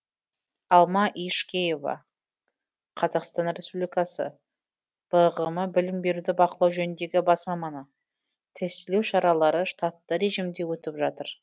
алма ешкеева қазақтан республикасы бғм білім беруді бақылау жөніндегі бас маманы тестілеу шаралары штатты режимде өтіп жатыр